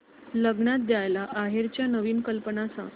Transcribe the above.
लग्नात द्यायला आहेराच्या नवीन कल्पना सांग